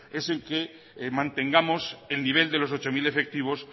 es en que mantengamos el nivel de los ocho mil efectivos